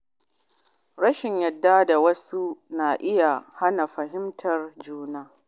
Rashin yarda da wasu na iya hana samun fahimtar juna.